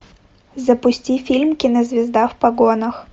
запусти фильм кинозвезда в погонах